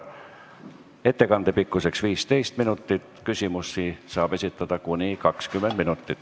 Ettekande pikkus on 15 minutit, küsimusi saab esitada kuni 20 minutit.